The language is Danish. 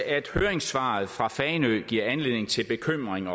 at høringssvaret fra fanø giver anledning til bekymring